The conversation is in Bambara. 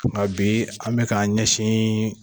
Nka bi an bɛ k'an k ɲɛsin